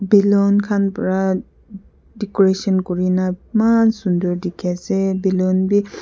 beloon khan pra decoration kurina maan sundur dikhi ase beloon bi--